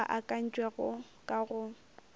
ao a akantšwego ka go